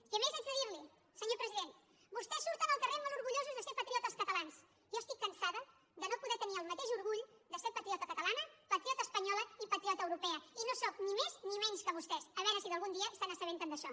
i a més haig de dir li ho senyor president vostès surten al carrer molt orgullosos de ser patriotes catalans jo estic cansada de no poder tenir el mateix orgull de ser patriota catalana patriota espanyola i patriota europea i no sóc ni més ni menys que vostès a veure si algun dia se n’assabenten d’això